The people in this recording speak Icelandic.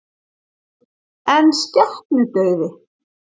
En skepnudauði?